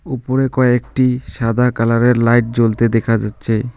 উপরে কয়েকটি সাদা কালার -এর লাইট জ্বলতে দেখা যাচ্ছে।